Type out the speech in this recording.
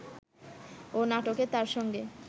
ও নাটকে তার সঙ্গে